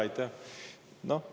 Aitäh!